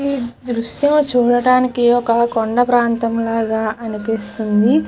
ఈ దృశ్యం చూడడానికి ఒక కొండ ప్రాంతం లాగా అనిపిస్తుంది.